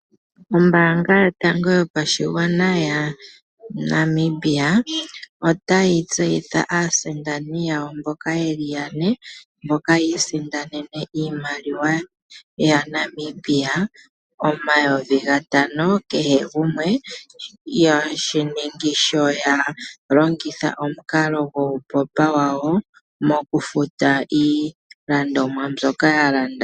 Ombaanga yotango yopashigwana yaNamibia ota yi tsehitha aasindani yawo mboka ye li yane mboka yi isindanene iimaliwa yaNamibia omayovi gatano kehe gumwe yeshiningi sho ya longitha omukalo guu kalata wawo wombaanga mokufuta iilandomwa mbyoka ya landa.